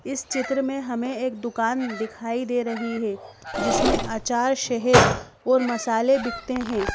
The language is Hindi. इस चित्र में हमें एक दुकान दिखाई दे रही है। जिसमें आंचार शहद और मसाले बिकते हैं।